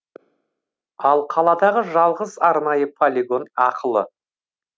ал қаладағы жалғыз арнайы полигон ақылы